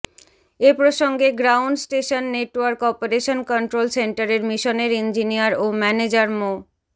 এ প্রসঙ্গে ground station network operation control সেন্টারের মিশনের ইঞ্জিনিয়ার ও ম্যানেজার মো